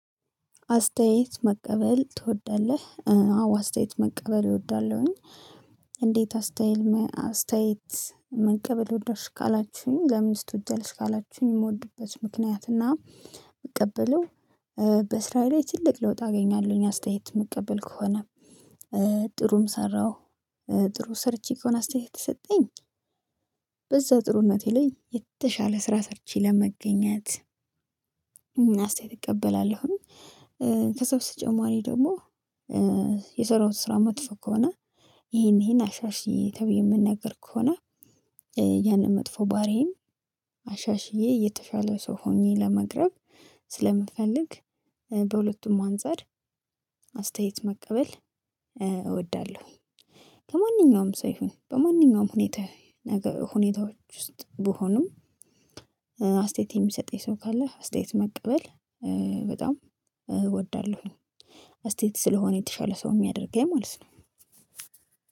አስተያየት መቀበል ትወዳለህ አዎ አስተያየት መቀበል እወዳለሁኝ። እንዴት አስተያየት አስታይት መቀበል ወደድሽ ካላችሁኝ ለምን ትወጃለሽ? ካላችሁኝ የምወድበት ምክንያት እና የምቀበለው በስራዬ ላይ ትልቅ ለውጥ አገኛለሁኝ። አስተያየት የምቀበል ከሆነ ጥሩም ሰራሁ ጥሩ ሰርቼ ከሆነ አስተያየት የተሰጠኝ በዛ ጥሩነቴ ላይ የተሻለ ስራ ሰርቼ ለመገኘት እና አስተያየት እቀበላለሁኝ። ከዛ በተጨማሪ ደግሞ የሰራው ስራ መጥፎ ከሆነ ይሄን ይሄን አሻሽይ ተብዬ የምነገር ከሆነ። ያንን መጥፎ ባህሪዬን አሻሽዬ የተሻለ ሰው ሆኜ ለመቅረብ ስለምፈልግ። በሁለቱም አንፃር አስተያየት መቀበል እወዳለሁ። ከማንኛውም ሰው ይሁን በማንኛውም ሁኔታ ሁኔታዎች ውስጥ ብሆንም። አስተያየት የሚሰጠኝ ሰው ካለ አስተያየት መቀበል በጣም እወዳለሁኝ አስተያየት ስለሆነ የተሻለ ሰው የሚያደርገኝ ማለት ነው።